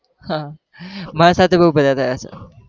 હાં માર સાથે બવ બધા થયા છે.